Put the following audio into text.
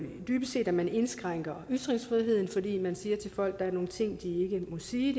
dybest set at man indskrænker ytringsfriheden fordi man siger til folk at der er nogle ting de ikke må sige